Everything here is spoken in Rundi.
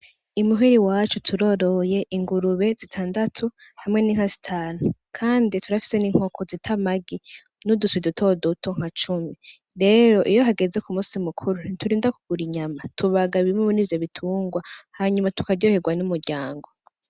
I muhira iwacu turoroye ingurube zitandatu hamwe n’inka zitanu kandi turafise N’inkoko zita amagi n’uduswi dutoduto cumi. Rero Iyo hageze ku musi mukuri ntiturinda kugura inyama , tubaga bimwe murivyo bitungwa hanyuma tukaryoherwa n’umuryango.